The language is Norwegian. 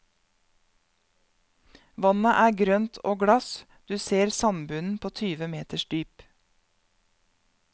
Vannet er grønt og glass, du ser sandbunnen på tyve meters dyp.